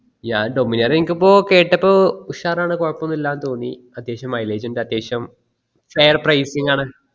ഞാൻ dominar എനക് ഇപ്പൊ കേട്ടപ്പോ ഉഷാറാന് കൊഴപ്പോനും ഇലാന്ന് തോന്നി അത്യാവശ്യം mileage ഇണ്ട് അത്യാവശ്യം fair pricing ആണ്